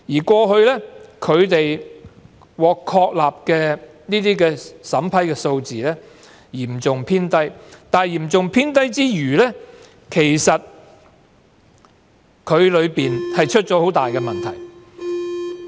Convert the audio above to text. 過去，獲成功確立的免遣返聲請數字嚴重偏低，除此之外，當中更出現嚴重問題。